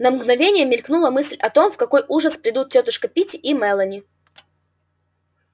на мгновение мелькнула мысль о том в какой ужас придут тётушка питти и мелани